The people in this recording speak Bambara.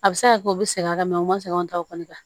A bɛ se ka kɛ u bɛ sɛgɛn ka u ma sɛgɛnw ta o kɔni kan